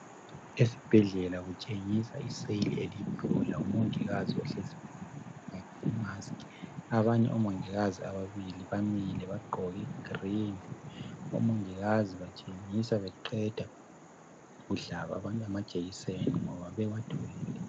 Esibhedlela kutshengisa iseyili eliyiblue lomongikazi ohlezi phansi oqgoke imask, abanye omongokazi ababili bamile baqgoke igreen omongikazi batshengisa beqeda ukuhlaba abantu amajekiseni ngoba bewathwele.